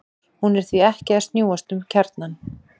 hún er því ekki að snúast um kjarnann!